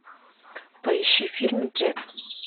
поищи фильм джет